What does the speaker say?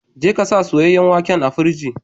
Je ka sa soyayen waken a firiji.